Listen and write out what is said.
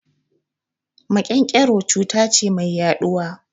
Maƙen-ƙero cuta ce mai yaɗuwa